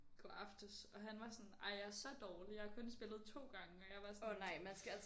Går aftes og han var sådan ej jeg er så dårlig jeg har kun spillet 2 gange og jeg var sådan